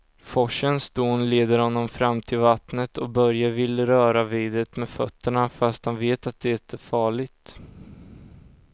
Forsens dån leder honom fram till vattnet och Börje vill röra vid det med fötterna, fast han vet att det är farligt.